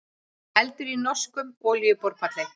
Eldur í norskum olíuborpalli